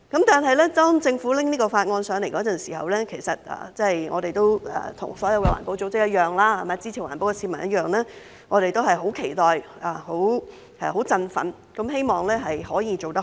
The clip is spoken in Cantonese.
當政府提交這項法案時，其實跟所有環保組織及支持環保的市民一樣，我們都是十分期待和振奮，希望可以做得好。